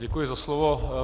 Děkuji za slovo.